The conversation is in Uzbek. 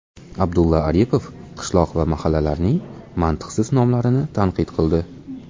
Abdulla Aripov qishloq va mahallalarning mantiqsiz nomlarini tanqid qildi.